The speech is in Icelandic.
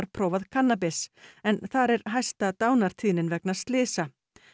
prófað kannabis en þar er hæsta dánartíðnin vegna slysa